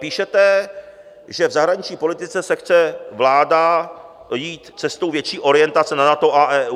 Píšete, že v zahraniční politice chce vláda jít cestou větší orientace na NATO a EU.